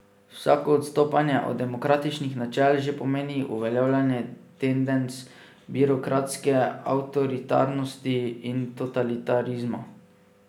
Vsako odstopanje od demokratičnih načel že pomeni uveljavljanje tendenc birokratske avtoritarnosti in totalitarizma.